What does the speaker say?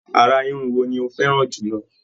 Àrà Irun wo ni o fẹràn jùlọ?